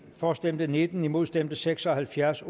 for stemte nitten imod stemte seks og halvfjerds